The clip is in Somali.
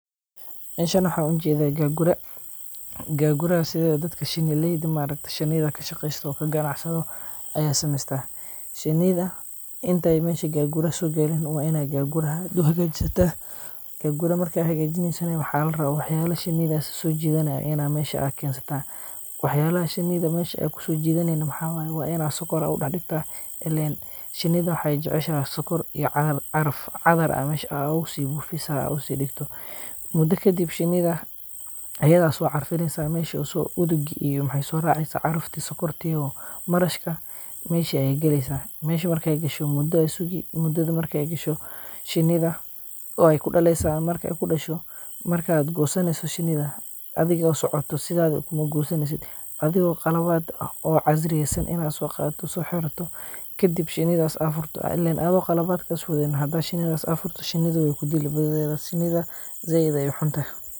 Meshan waxan ujeda, gagura, gaguraha sidhedawo dadka shini leyda maarakte shinida kashaqesto oo kagacansado aya samesta, shinida intay mesha gaguraha sogarin ama ay gaguraha hagajisata, gaguraa marka hagajineyso waxa larawa waxyala shinida sojidaneyso ina mesha aad kensata, waxyalaxa shinida aa mesha kusojidani maxa waye, wa ina sokor u digta, een shinada waxay jeceshaxa sokor iyo caraf, cadar aa mesh ogusibufisa, inta usidigto, mido kadib shinida, ayada socarfineysa mesh usoordi maxay soraci carafti sokorti iyo marashka, meshi ayay galeysa, meshi markay gasho, mudo aya sugi, mudada markay gasho, shinida way kudaleysa, marka kudasho, markad gosaneyso shinida, adhigo socoto sidada maugoysaneysidh, adhiga qalabad ah oo casriyeysan inad sogato so xirato, kadib shinidas aad furfurto, ilen adho qaalab markas wadanin xadad shinidas aad furto, shinida way kudili, shinida zaid ayay uxunte.